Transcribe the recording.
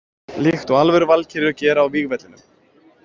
Líkt og alvöru valkyrjur gera á vígvellinum.